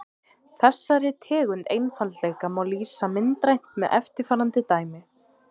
Þessari tegund einfaldleika má lýsa myndrænt með eftirfarandi dæmi.